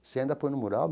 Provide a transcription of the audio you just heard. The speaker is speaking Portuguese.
Você ainda põe no mural?